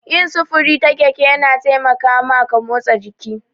Yin sufuri ta keke yana taimaka maka motsa jiki.